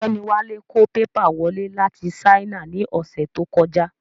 Ọ̀gbẹ́ni Wálé kó pépà wọlé láti Sáínà ní ọ̀sẹ̀ tó kọjá